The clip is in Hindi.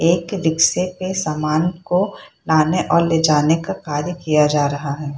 एक रिक्शे पे सामान को लाने और ले जाने का कार्य किया जा रहा है।